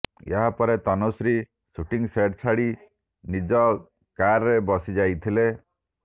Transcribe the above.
ଏହାପରେ Tanushree shooting set ଛାଡ଼ି ନିଜ କାର୍ରେ ବସିଯାଇଥିଲେ